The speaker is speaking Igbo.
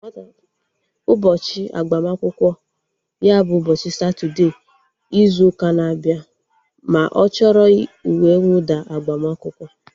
Ụbọchị agbamakwụkwọ ya bụ ụbọchị Satọdee izu ụka na-abịa ma ọ chọrọ uwe nwụda agbamakwụkwọ